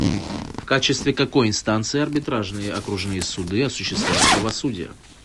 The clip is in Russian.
в качестве какой инстанции арбитражные окружные суды осуществляют правосудие